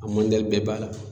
A mandali bɛɛ b'a la.